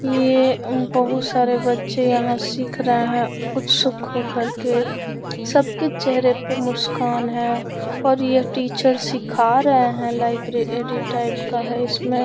ये बहुत सारे बच्चे यहाँ सिख रहे है उत्सुक हो कर के सबके चेहरे पर मुस्कान है और यह टीचर सीखा रहे है लाइब्रेरी टाइप तरह का है इसमें।